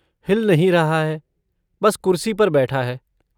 हिल नहीं रहा है, बस कुर्सी पर बैठा है।